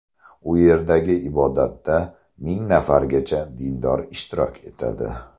U yerdagi ibodatda ming nafargacha dindor ishtirok etadi.